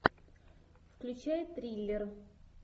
включай триллер